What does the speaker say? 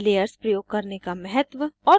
* layers प्रयोग करने के महत्व